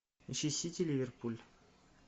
ищи сити ливерпуль